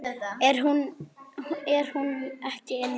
Er hún ekki inni?